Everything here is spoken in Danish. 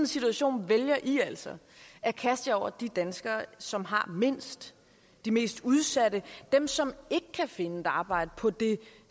situation vælger i altså at kaste jer over de danskere som har mindst de mest udsatte dem som ikke kan finde et arbejde på det